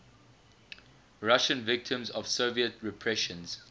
russian victims of soviet repressions